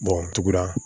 tugura